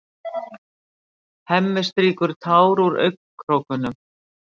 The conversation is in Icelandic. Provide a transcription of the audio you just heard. Hemmi strýkur tár úr augnakrókunum.